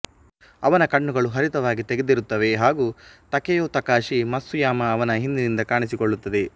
ಅವನ ಕಣ್ಣುಗಳು ಹರಿತವಾಗಿ ತೆಗೆದಿರುತ್ತವೆ ಹಾಗೂ ತಕೆಯೊ ತಕಷಿ ಮತ್ಸುಯಾಮಾ ಅವನ ಹಿಂದಿನಿಂದ ಕಾಣಿಸಿಕೊಳ್ಳುತ್ತದೆ